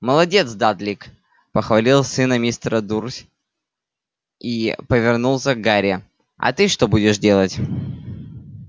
молодец дадлик похвалил сына мистера дурсь и повернулся к гарри а ты что будешь делать